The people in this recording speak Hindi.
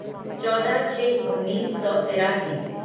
चौदह छः उन्नीस सौ तिरासी